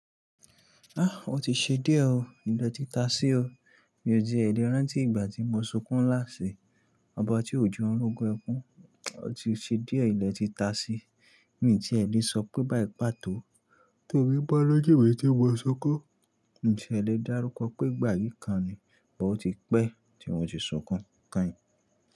A! O ti ṣe díẹ̀ o. Ilẹ̀ ti ta sí o. Mi ò tie lẹ́ rántí ìgbà tí mo sunkún lásí ọba tí ò je n rógún ẹkún. O ti ṣe díẹ̀ ilẹ̀ ti ta sí. Mi ti ẹ lè sọ pé bá i pató, tomí bá ló jù mì tí mo sún kún. Ǹtí ẹ lè dárúkọ pé ìgbà yìí kan ni, bọ ó ti pẹ́ tí wọn ti sunkún kàn yí.